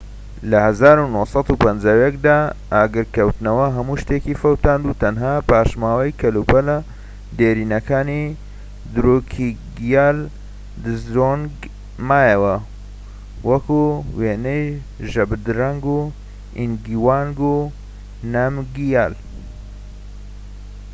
لە ١٩٥١ دا ئاگرکەوتنەوە هەموو شتێکی فەوتاند و تەنها پاشماوەی کەلوپەلە دێرینەکانی دروکگیال دزۆنگ مایەوە، وەکو وێنەی ژابدرەنگ ئینگاوانگ نامگیال